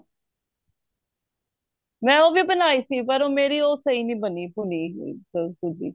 ਮੈਂ ਉਹ ਵੀ ਬਣਾਈ ਸੀ ਪਰ ਉਹ ਸਹੀ ਨਹੀਂ ਬਣੀ ਭੁੰਨੀ ਹੋਈ ਸੂਜੀ